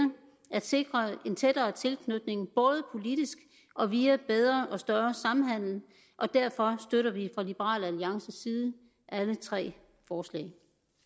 at sikre en tættere tilknytning både politisk og via bedre og større samhandel og derfor støtter vi fra liberal alliances side alle tre forslag